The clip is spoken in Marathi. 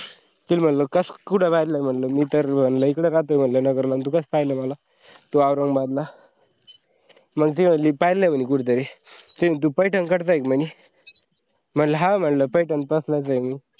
मी म्हटलं कुठ पाहेल म्हणलं, मी तर इकडं राहतो नगर ला अन तू कसा पाहिलंय मला तू औरंगबादला. मंग ते म्हटली पाहेल आहे कुठ तरी ते म्हणाली तू पैठणकडचं का म्हणी म्हणलं हो म्हणालो पैठण पासूनच आहे मी